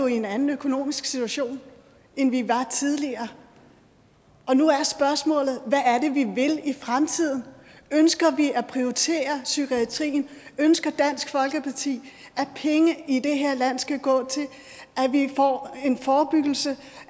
i en anden økonomisk situation end vi var tidligere og nu er spørgsmålet hvad er det vi vil i fremtiden ønsker vi at prioritere psykiatrien ønsker dansk folkeparti at penge i det her land skal gå til at vi får en forebyggelse og